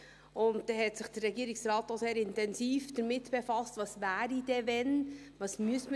Und da hat sich der Regierungsrat auch sehr intensiv damit befasst, was denn wäre, wenn, was man denn ins Auge fassen müsste.